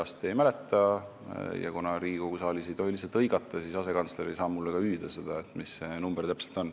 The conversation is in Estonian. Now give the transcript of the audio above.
Ma seda peast ei mäleta ja kuna Riigikogu saalis ei tohi lihtsalt hõigata, siis ei saa ka asekantsler mulle hüüda, mis see number täpselt on.